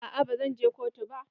Aa ba zan je kotu ba.